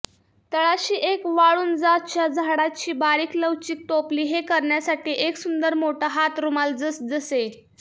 तळाशी एक वाळुंजाच्या झाडाची बारीक लवचिक टोपली हे करण्यासाठी एक सुंदर मोठा हात रुमाल जसजसे